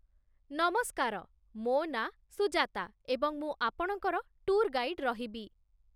ନମସ୍କାର, ମୋ ନାଁ ସୁଜାତା, ଏବଂ ମୁଁ ଆପଣଙ୍କର ଟୁର୍ ଗାଇଡ୍ ରହିବି।